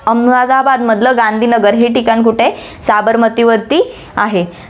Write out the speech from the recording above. अहमदाबादमधलं गांधीनगर हे ठिकाण कुठे आहे, साबरमतीवरती आहे.